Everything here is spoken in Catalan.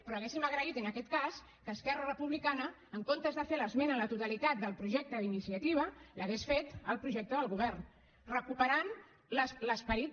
però hauríem agraït en aquest cas que esquerra republicana en comptes de fer l’esmena a la totalitat del projecte d’iniciativa l’hagués fet al projecte del govern recuperant l’esperit